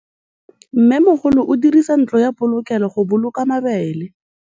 Mmêmogolô o dirisa ntlo ya polokêlô, go boloka mabele.